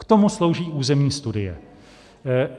K tomu slouží územní studie.